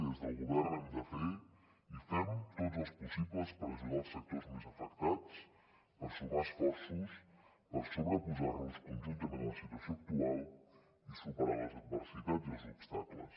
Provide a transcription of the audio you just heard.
i des del govern hem de fer i fem tots els possibles per ajudar els sectors més afectats per sumar esforços per sobreposar nos conjuntament a la situació actual i superar les adversitats i els obstacles